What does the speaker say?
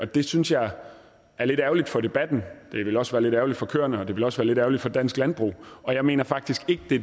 det synes jeg er lidt ærgerligt for debatten det ville også være lidt ærgerligt for køerne og det ville også være lidt ærgerligt for dansk landbrug jeg mener faktisk ikke det